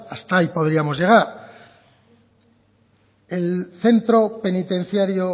hasta ahí podríamos llegar el centro penitenciario